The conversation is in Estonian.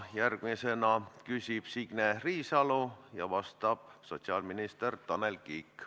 Järgmisena küsib Signe Riisalo ja vastab sotsiaalminister Tanel Kiik.